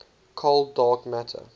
cold dark matter